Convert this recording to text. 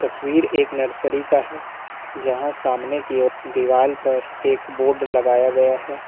तस्वीर एक नर्सरी का है जहां सामने की ओर दीवाल पर एक बोर्ड लगाया गया है।